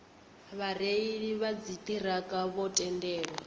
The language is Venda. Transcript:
vhareili vha dziṱhirakha vho tendelwa